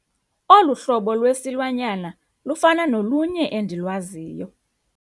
Olu hlobo lwesilwanyana lufana nolunye endilwaziyo.